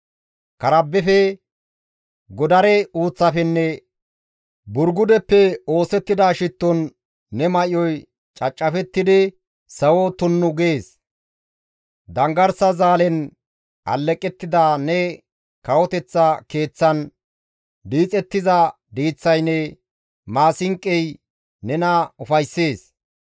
Karbbefe, godare uuththafenne Burgudeppe oosettida shitton ne may7oy cacafettidi sawo tunnu gees; Danggarsa zaalen alleqettida ne kawoteththa keeththan diixettiza diiththaynne maasinqoy nena ufayssees.